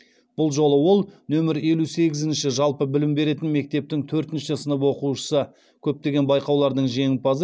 бұл жолы ол нөмірі елу сегізінші жалпы білім беретін мектептің төртінші сынып оқушысы көптеген байқаулардың жеңімпазы